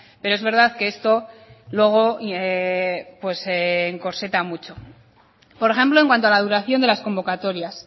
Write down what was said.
pero es verdad que esto luego pues encorseta mucho por ejemplo en cuanto a la duración de las convocatorias